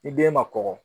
Ni den ma kɔkɔ